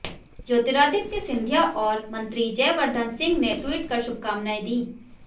ज्योतिरादित्य सिंधिया और मंत्री जयवर्द्धन सिंह ने ट्वीट कर शुभकामनाएं दी